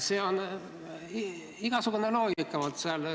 Selline loogika on seal.